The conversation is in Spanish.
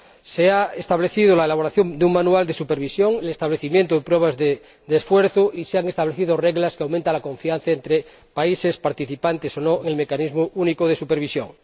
Se ha acordado elaborar un manual de supervisión, el establecimiento de pruebas de esfuerzo y se han establecido reglas que aumentan la confianza entre países participantes o no en el mecanismo único de supervisión.